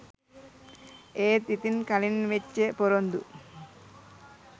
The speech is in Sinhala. ඒත් ඉතින් කලින් වෙච්ච පොරොන්දු